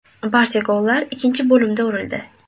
Barcha gollar ikkinchi bo‘limda urildi.